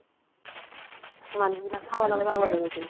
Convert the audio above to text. মানুহবিলাক খাব নাপাই পাগল হৈ গৈছিল